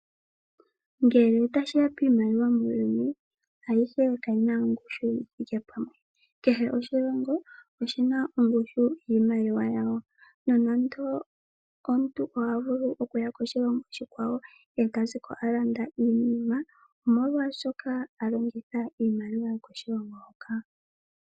Nge tashiya piinima yo muuyuni aluhe Kehe oshilongo oshina ongushu yiimaliwa yawo nomuntu ohavulu okuaya koshilongo oshikwawo eto ziko wa landa iinima niimaliwa .molwaashoka alongitha iimaliwa yokoshilongo hoka.